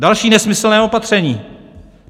Další nesmyslné opatření!